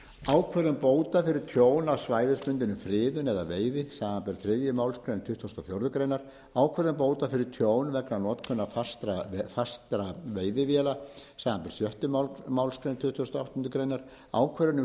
ákvörðun bóta fyrir tjón af svæðisbundinni friðun eða veiði samanber þriðju málsgrein tuttugustu og fjórðu grein ákvörðun bóta fyrir tjón vegna notkunar fastra veiðivéla samanber sjöttu málsgrein tuttugustu og áttundu grein ákvörðun um